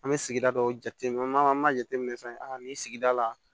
An bɛ sigida dɔw jateminɛ an b'a jateminɛ sisan a ni sigida la